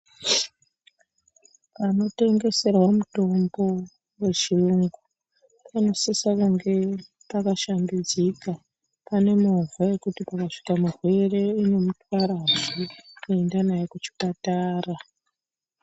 Panotengeserwe mitombo wechiyungu, panosise kunge pakashambidzika, pane movha yekuti, pakasvika murwere, inomutwarazve kuenda naye kuchipatara.